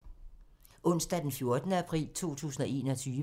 Onsdag d. 14. april 2021